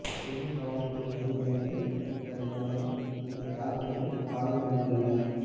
பெண் காவல்துறை அதிகாரிகள் உட்பட பலரும் இந்த தாக்குதலில் காயமடைந்து உள்ளனர்